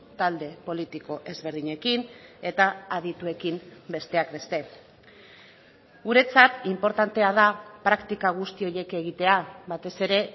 talde politiko ezberdinekin eta adituekin besteak beste guretzat inportantea da praktika guzti horiek egitea batez ere